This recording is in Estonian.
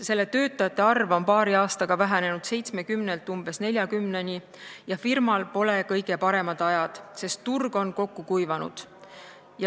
Selle töötajate arv on paari aastaga vähenenud 70-st umbes 40-ni ja firmal pole kõige paremad ajad, sest turg on kokku kuivanud.